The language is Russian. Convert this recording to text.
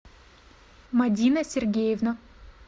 мадина сергеевна